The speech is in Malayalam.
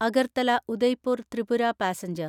അഗർത്തല ഉദയ്പൂർ ത്രിപുര പാസഞ്ചർ